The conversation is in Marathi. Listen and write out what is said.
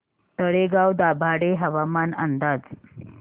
तळेगाव दाभाडे हवामान अंदाज